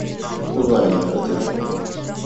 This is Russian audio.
узнай номер отеля